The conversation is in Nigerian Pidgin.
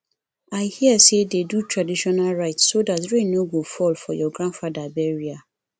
i hear say dey do traditional rites so dat rain no go fall for your grandfather burial